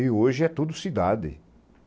E hoje é tudo cidade.